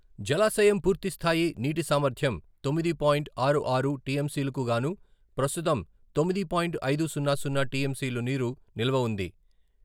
జలాశయం పూర్తి స్థాయి నీటి సామర్థ్యం తొమ్మిది పాయింట్ ఆరు ఆరు టీఎంసీలకు గాను ప్రస్తుతం తొమ్మిది పాయింట్ ఐదు సున్న సున్న టీఎంసీలు నీరు నిల్వ ఉంది.